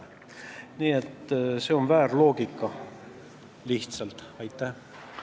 Nii et see on teil lihtsalt väär loogika.